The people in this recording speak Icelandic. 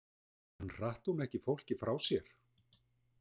En hratt hún ekki fólki frá sér?